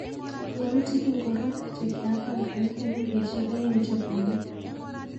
Yautik ingoro chekiapangan eng wikisiek aeng chebwoni.